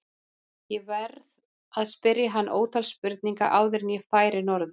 Ég varð að spyrja hann ótal spurninga áður en ég færi norður.